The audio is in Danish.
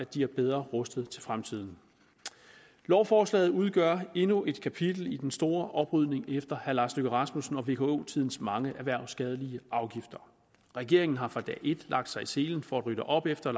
de er bedre rustet til fremtiden lovforslaget udgør endnu et kapitel i den store oprydning efter herre lars løkke rasmussen og vko tidens mange erhvervsskadelige afgifter regeringen har fra dag et lagt sig i selen for at rydde op efter